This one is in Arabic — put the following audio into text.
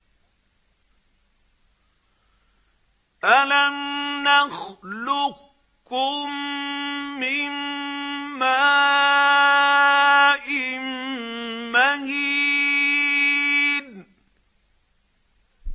أَلَمْ نَخْلُقكُّم مِّن مَّاءٍ مَّهِينٍ